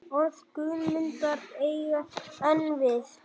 Orð Guðmundar eiga enn við.